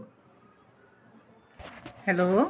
hello